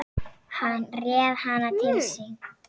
Hann réð hana til sín.